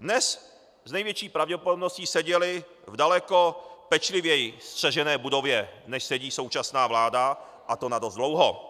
dnes s největší pravděpodobností seděly v daleko pečlivěji střežené budově, než sedí současná vláda, a to na dost dlouho.